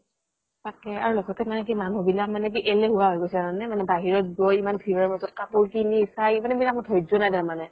তাকেই আৰু লগতে মানুহ বিলাক মানে কি এলেহুৱা হয় গৈছে জানা নে মানে বাহিৰত গৈ ইমান ভিৰৰ মাজত কাপোৰ কিনি চাই ধৈৰ্য্য নাই মানে